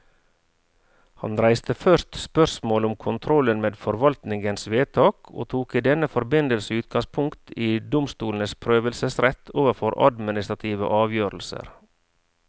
Han reiste først spørsmålet om kontrollen med forvaltningens vedtak, og tok i denne forbindelse utgangspunkt i domstolenes prøvelsesrett overfor administrative avgjørelser.